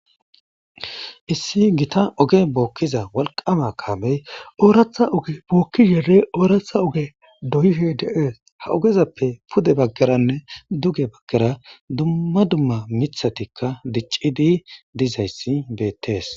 issi gita oge bookkiza walqama kaamey ooratha oge bookki seere ooratha oge doyife deees ha ogezappe pude baggeranne duge baggera dummma dumma mithatikka diccidi dizayssi beettees